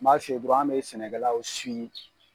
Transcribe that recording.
N b'a f'i ye dɔrɔn an bɛ sɛnɛkɛlaw